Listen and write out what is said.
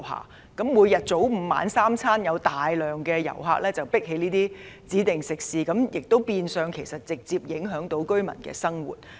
如果大量旅客早午晚三餐都擠在一些指定食肆，便會直接影響到居民的生活。